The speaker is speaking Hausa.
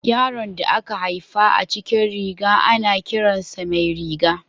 Yaron da aka haifa a cikin riga, ana kiran sa Mairiga.